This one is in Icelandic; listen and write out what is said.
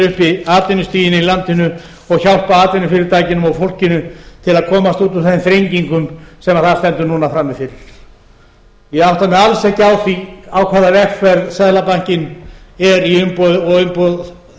uppi atvinnustiginu í landinu og hjálpa atvinnufyrirtækjunum og fólkinu til að komast út úr þeim þrengingum sem það stendur núna frammi fyrir ég átta mig alls ekki á því á hvaða vegferð seðlabankinn er í og umboð